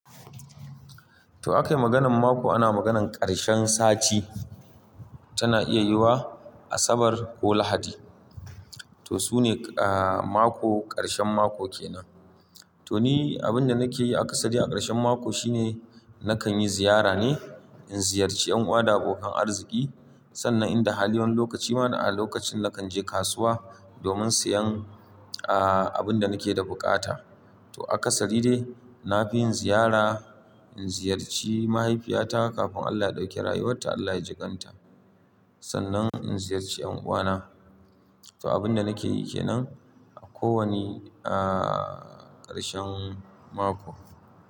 To aka yi maganan mako, ana maganan karshen sati tana iya yiwa Asabar ko Lahadi. To su ne aa mako, karshen mako kenan. To ni abinda nake yi a kasari a karshen mako shine nakan yi ziyara ne, in ziyarci yan uwa da abokan arziki. Sannan in da hali wani lokaci mana a lokacin nakan je kasuwa domin siyan aa abinda nake da bukata. To a kasari dai na fi yin ziyara, in ziyarci mahaifiyata kafin Allah ya dauke rayuwarta, Allah ya jikan ta. Sannan in ziyarci yan uwana. To abinda nake yi kenan a ko wane aa karshen mako.